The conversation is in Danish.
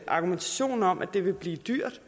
argumentation om at det vil blive dyrt